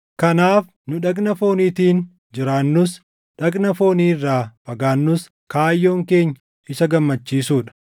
Kanaaf nu dhagna fooniitiin jiraannus, dhagna foonii irraa fagaannus kaayyoon keenya Isa gammachiisuu dha.